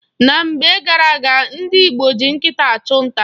Na mgbe gara-aga, ndị Igbo ji nkịta achụ nta.